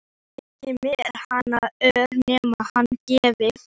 Ekki þyki mér hann ör nema hann gefi.